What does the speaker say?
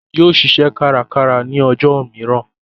Yóò ṣiṣẹ́ kárakára ní ọjọ́ mìíràn